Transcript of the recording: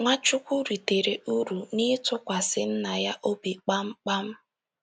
Nwachukwu ritere uru n’ịtụkwasị Nna ya obi kpamkpam.